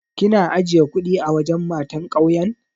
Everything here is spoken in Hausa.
Kina ajiye kuɗi a wajen matan ƙauyen?